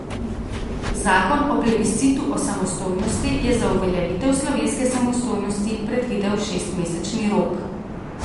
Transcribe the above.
Zakon o plebiscitu o samostojnosti je za uveljavitev slovenske samostojnosti predvidel šestmesečni rok.